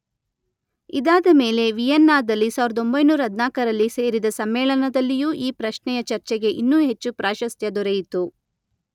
ಇದಾದಮೇಲೆ ವಿಯೆನ್ನಾದಲ್ಲಿ ಸಾವಿರದೊಂಬೈನೂರ ಹದಿನಾಲ್ಕರಲ್ಲಿ ಸೇರಿದ ಸಮ್ಮೇಳನದಲ್ಲಿಯೂ ಈ ಪ್ರಶ್ನೆಯ ಚರ್ಚೆಗೆ ಇನ್ನೂ ಹೆಚ್ಚು ಪ್ರಾಶಸ್ತ್ಯ ದೊರೆಯಿತು.